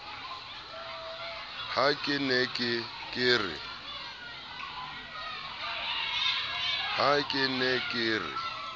ha ke ne ke re